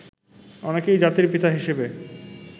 অনেকেই জাতির পিতা হিসেবে